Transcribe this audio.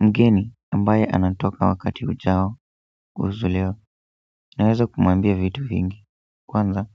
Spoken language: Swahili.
Mgeni ambaye anatoka wakati ujao naweza kumwambia vitu vingi kwanza,